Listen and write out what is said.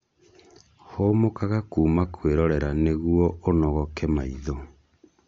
Hũmũkaga kuma kwĩrorera nĩguo ũnogoke maitho